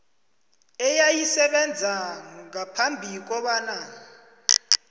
eyayisebenza ngaphambi kobana